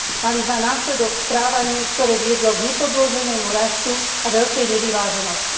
mali za následok správanie, ktoré viedlo k nepodloženému rastu a veľkej nevyváženosti.